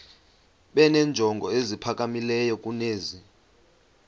benenjongo eziphakamileyo kunezi